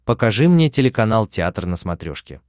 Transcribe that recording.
покажи мне телеканал театр на смотрешке